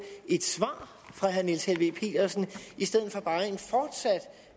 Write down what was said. et svar fra herre niels helveg petersen i stedet for bare